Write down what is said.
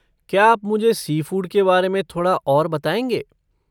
क्या आप मुझे सी फूड के बारे में थोड़ा और बताएँगे?